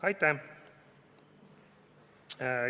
Aitäh!